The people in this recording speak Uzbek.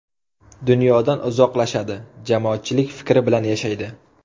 Dunyodan uzoqlashadi, jamoatchilik fikri bilan yashaydi.